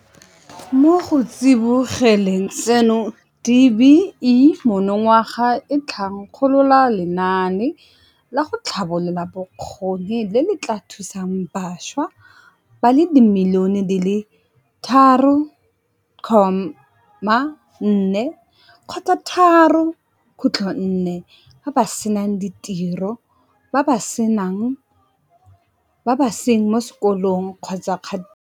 Mo go tsibogeleng seno, DBE monongwaga e thankgolola lenaane la go tlhabolola bokgoni le le tla thusang bašwa ba le dimilione di le 3.4 ba ba senang ditiro, ba ba seng mo sekolong kgotsa mo katisong.